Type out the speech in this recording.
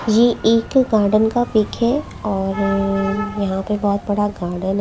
ये एक गार्डन का पिक है और यहां पे बहोत बड़ा गार्डन --